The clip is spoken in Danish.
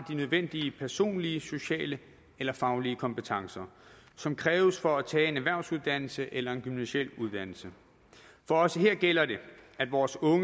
de nødvendige personlige sociale eller faglige kompetencer som kræves for at tage en erhvervsuddannelse eller en gymnasial uddannelse for også her gælder det at vores unge